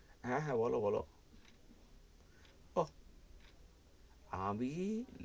হ্যা, হ্যা, বলো বলো আহ আমি.